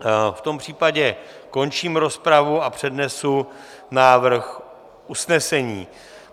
V tom případě končím rozpravu a přednesu návrh usnesení: